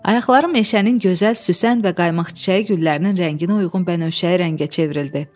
Ayaqları meşənin gözəl süsən və qaymaqçiçəyi güllərinin rənginə uyğun bənövşəyi rəngə çevrildi.